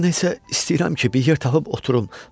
Nəsə, istəyirəm ki, bir yer tapıb oturum.